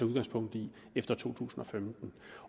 udgangspunkt i efter to tusind og femten